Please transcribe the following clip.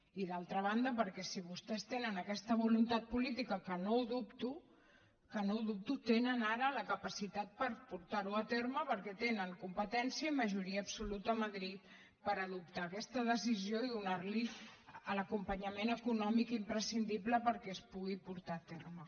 i d’altra banda perquè si vostès tenen aquesta voluntat política que no ho dubto que no ho dubto tenen ara la capacitat per portar ho a terme perquè tenen competència i majoria absoluta a madrid per adoptar aquesta decisió i donar li l’acompanyament econòmic imprescindible perquè es pugui portar a terme